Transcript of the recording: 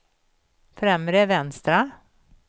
främre vänstra